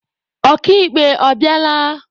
Ọka ikpe ọ bịala?